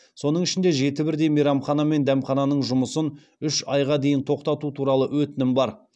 соның ішінде жеті бірдей мейрамхана мен дәмхананың жұмысын үш айға дейін тоқтату туралы өтінім бар